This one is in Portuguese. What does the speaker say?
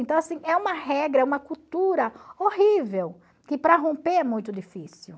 Então, assim, é uma regra, é uma cultura horrível, que para romper é muito difícil.